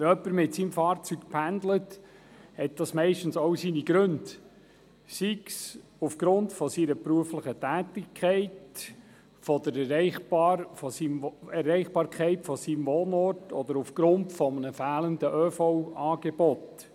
Wenn jemand mit seinem Fahrzeug pendelt, hat das meist auch Gründe, sei es aufgrund seiner beruflichen Tätigkeit, sei es wegen der Erreichbarkeit seines Wohnortes oder aufgrund eines fehlenden ÖV-Angebots.